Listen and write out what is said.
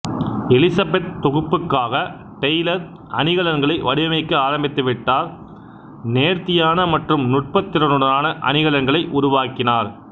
Elizabeth தொகுப்புக்காக Taylor அணிகலன்களை வடிவமைக்க ஆரம்பித்துவிட்டார் நேர்த்தியான மற்றும் நுட்பத்திறனுடனான அணிகலன்களை உருவாக்கினார்